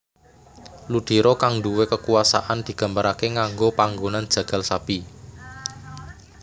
Ludiro kang nduwe kekuwasaan digambarake nganggo panggonan jagal sapi